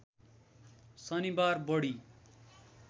शनिबार बढी